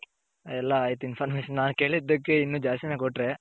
ಎಲ್ಲಾ ಆಯ್ತು information ನಾನು ಕೆಲಿದಕೆ ಇನ್ನ ದ್ಯಸ್ತಿ ನೆ ಕೊಟ್ಟೆ